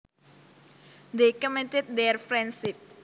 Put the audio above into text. They cemented their friendship